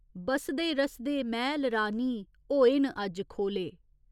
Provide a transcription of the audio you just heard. बसदे रसदे मैह्‌ल रानी होए न अज्ज खोले।